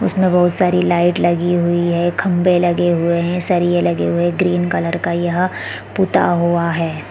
उसमे बहोत सारी लाइट लगी हुई है खम्बे लगे हुए है सरिये लगे हुए है ग्रीन कलर का यह पूता हुआ है।